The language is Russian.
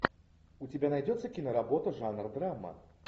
у тебя найдется киноработа жанр драма